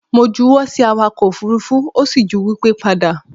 Mo ju wọ́ sí awakọ̀ òfurufú ó sì ju wipe padà